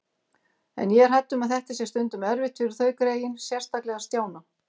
En ég er hrædd um að þetta sé stundum erfitt fyrir þau greyin, sérstaklega Stjána